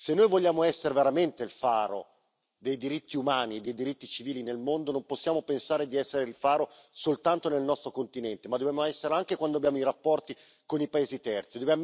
Se noi vogliamo essere veramente il faro dei diritti umani e dei diritti civili nel mondo, non possiamo pensare di essere il faro soltanto nel nostro continente, ma dobbiamo esserlo anche quando abbiamo i rapporti con i paesi terzi.